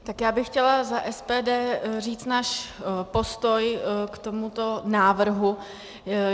Tak já bych chtěla za SPD říct náš postoj k tomuto návrhu.